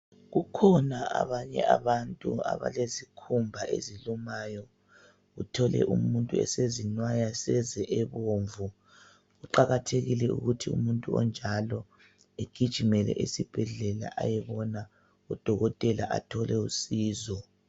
Kukhona abanye abantu abalezikhumba ezilumayo. Uthole umuntu esezinwaya seze ebomvu. Kuqakathekile ukuthi umuntu onjalo egijimele esibhedlela ayebona udokotela athole usizo.